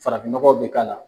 Farafinɲɔgɔw be k'a la.